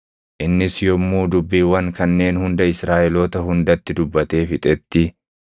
Innis yommuu dubbiiwwan kanneen hunda Israaʼeloota hundatti dubbatee fixetti,